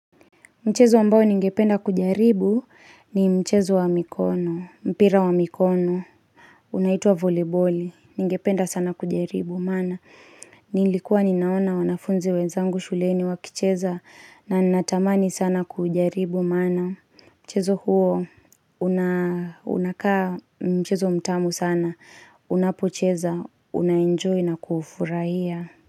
Mchezo ambao ningependa kujaribu ni mchezo wa mikono, mpira wa mikono. Unaitua voliboli, ningependa sana kujaribu, maana. Nilikuwa ninaona wanafunzi wenzangu shuleni wakicheza na natamani sana kujaribu, maana. Mchezo huo, unakaa mchezo mtamu sana, unapocheza, unaenjoy na kuufurahia.